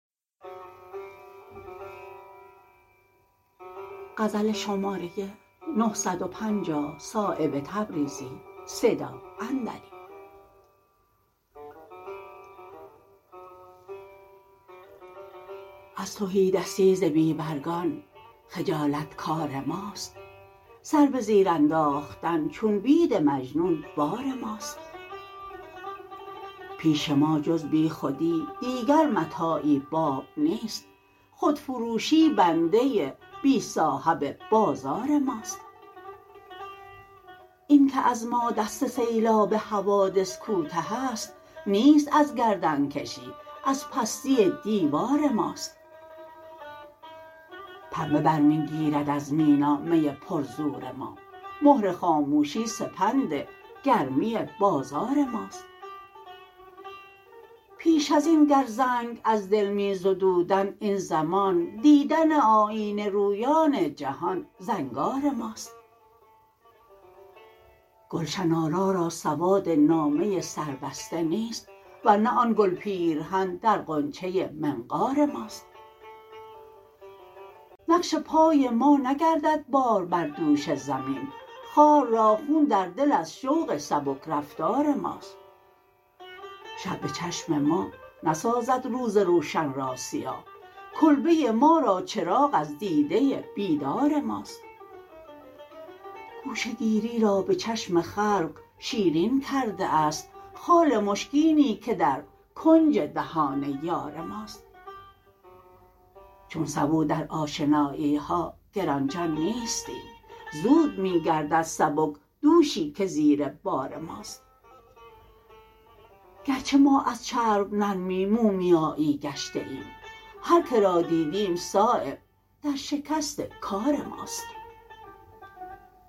از تهیدستی ز بی برگان خجالت کار ماست سر به زیر انداختن چون بید مجنون بار ماست پیش ما جز بیخودی دیگر متاعی باب نیست خودفروشی بنده بی صاحب بازار ماست این که از ما دست سیلاب حوادث کوته است نیست از گردنکشی از پستی دیوار ماست پنبه برمی گیرد از مینا می پر زور ما مهر خاموشی سپند گرمی بازار ماست پیش ازین گر زنگ از دل می زدودند این زمان دیدن آیینه رویان جهان زنگار ماست گلشن آرا را سواد نامه سربسته نیست ورنه آن گل پیرهن در غنچه منقار ماست نقش پای ما نگردد بار بردوش زمین خار را خون در دل از شوق سبکرفتار ماست شب به چشم ما نسازد روز روشن را سیاه کلبه ما را چراغ از دیده بیدار ماست گوشه گیری را به چشم خلق شیرین کرده است خال مشکینی که در کنج دهان یار ماست چون سبو در آشنایی ها گرانجان نیستیم زود می گردد سبک دوشی که زیر بار ماست گرچه ما از چرب نرمی مومیایی گشته ایم هر که را دیدیم صایب در شکست کار ماست